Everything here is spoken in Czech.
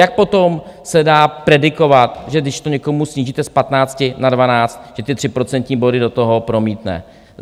Jak potom se dá predikovat, že když to někomu snížíte z patnácti na dvanáct, že ty tři procentní body do toho promítne.